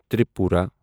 Tripura